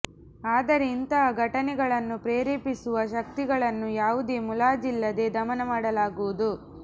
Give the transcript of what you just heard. ಆದರೆ ಇಂತಹ ಘಟನೆಗಳನ್ನು ಪ್ರೇರೆಪಿಸುವ ಶಕ್ತಿಗಳನ್ನು ಯಾವುದೇ ಮುಲಾಜಿಲ್ಲದೇ ದಮನ ಮಾಡಲಾಗುವುದು